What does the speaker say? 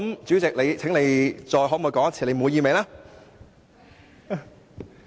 主席，你現在可否回答你滿意嗎？